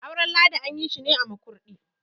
auren ladi an yi shi ne a Makurdi